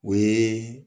O ye